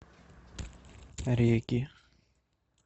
регги